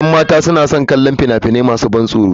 Yan mata suna son kallon fina-finai masu ban tsoro.